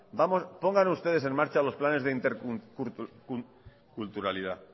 pongan ustedes en marcha los planes de interculturalidad